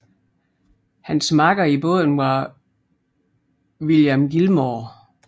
Hans makker i båden var William Gilmore